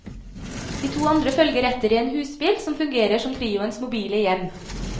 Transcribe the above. De to andre følger etter i en husbil, som fungerer som trioens mobile hjem.